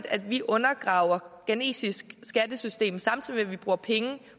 at vi undergraver det ghanesiske skattesystem samtidig med at vi bruger penge